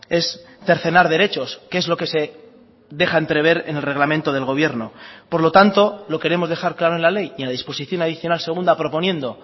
es cercenar derechos que es lo que se deja entrever en el reglamento del gobierno por lo tanto lo queremos dejar claro en la ley y en la disposición adicional segunda proponiendo